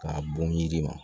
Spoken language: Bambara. K'a bon yiri ma